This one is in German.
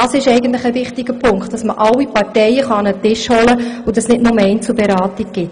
Ein wichtiger Punkt ist, dass man alle Parteien an einen Tisch holen kann und es nicht nur Einzelberatungen gibt.